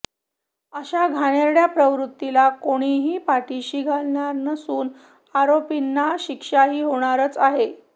अशा घाणेरड्या प्रवृत्तीला कोणीही पाठीशी घालणार नसून आरोपींना शिक्षाही होणारच आहे